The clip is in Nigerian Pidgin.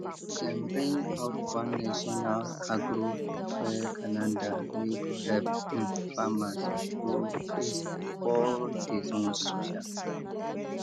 dem bring out one national agro fair calendar wey go help um farmers show face for all di zones um